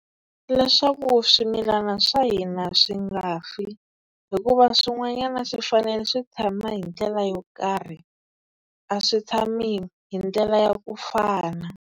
Leswaku swimilana swa hina swi nga fi, hikuva swin'wanyana swi fanele swi tshama hi ndlela yo karhi a swi tshami hi ndlela ya ku fana.